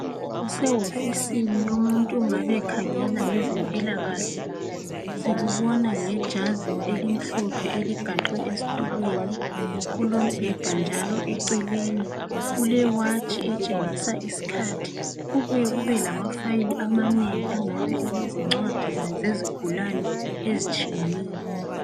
kusewofisini yomuntu ongabe ekhangela ngezempikahle sikubona ngejazi elimhlophe eligaxwe esitulweni kulombheda njalo eceleni kulewatshi etshengisa isikhathi kubuye kube lama file amanengi angae elezincwadi zezigulane ezitshiyeneyo